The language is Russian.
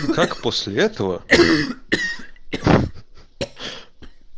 как после этого